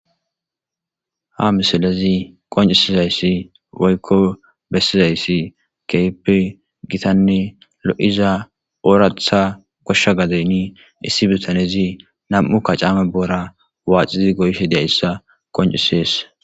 Ha misilezi qoncisizayssi waykko bessizayssi keype gitanne lo'iza oratha goshsha gadeynni issi bitanezi nam'u kacaame boora waaxizi goyshe diayssa qoncisees.